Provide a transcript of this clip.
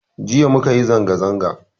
Jiya mukayi zanga-zanga